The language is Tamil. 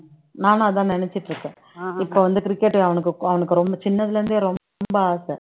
நானும் அதான் நினைச்சுட்டு இருக்கேன் இப்ப வந்து cricket அவனுக்கு அவனுக்கு ரொம்ப சின்னதுல இருந்தே ரொம்ப ஆசை